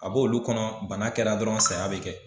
A bo olu kɔnɔ bana kɛra dɔrɔn saya bɛ kɛ.